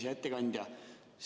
Hea ettekandja!